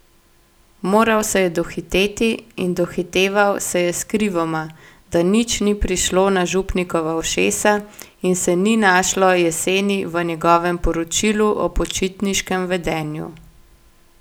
Moral se je dohiteti, in dohiteval se je skrivoma, da nič ni prišlo na župnikova ušesa in se ni našlo jeseni v njegovem poročilu o počitniškem vedenju.